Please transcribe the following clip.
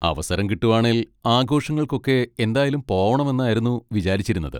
അവസരം കിട്ടുവാണേൽ ആഘോഷങ്ങൾക്കൊക്കെ എന്തായാലും പോവണം എന്നായിരുന്നു വിചാരിച്ചിരുന്നത്.